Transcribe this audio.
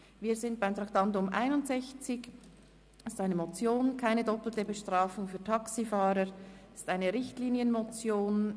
Wir sind beim Traktandum 61 angelangt, einer Motion.